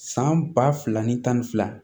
San ba fila ni tan ni fila